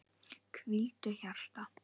Hvíldu hjarta.